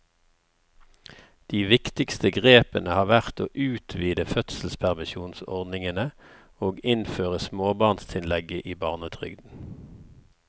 De viktigste grepene har vært å utvide fødselspermisjonsordningene og innføre småbarnstillegget i barnetrygden.